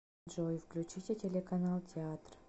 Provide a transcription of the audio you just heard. джой включите телеканал театр